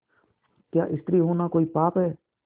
क्या स्त्री होना कोई पाप है